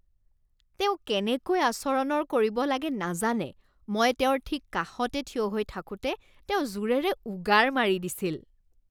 তেওঁ কেনেকৈ আচৰণৰ কৰিব লাগে নাজানে। মই তেওঁৰ ঠিক কাষতে থিয় হৈ থাকোঁতে তেওঁ জোৰেৰে উগাৰ মাৰি দিছিল।